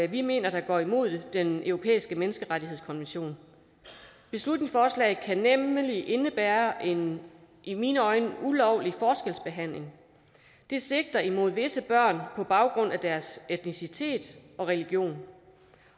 vi mener går imod den europæiske menneskerettighedskonvention beslutningsforslaget kan nemlig indebære en i mine øjne ulovlig forskelsbehandling det sigter imod visse børn på baggrund af deres etnicitet og religion